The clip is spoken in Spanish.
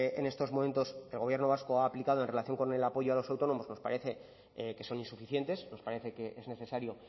en estos momentos el gobierno vasco ha aplicado en relación con el apoyo a los autónomos nos parece que son insuficientes nos parece que es necesario